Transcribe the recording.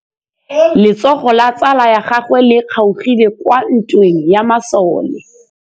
Letsôgô la tsala ya gagwe le kgaogile kwa ntweng ya masole.